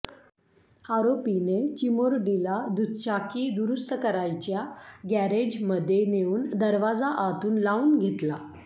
आरोपीने चिमुरडीला दुचाकी दुरुस्त करायच्या गॅरेजमध्ये नेउन दरवाजा आतून लावून घेतला